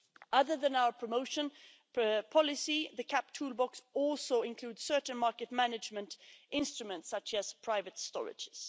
Other than our promotion policy, the CAP toolbox also includes certain market management instruments such as private storage.